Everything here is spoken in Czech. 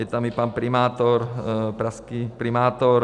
Je tam i pan primátor, pražský primátor.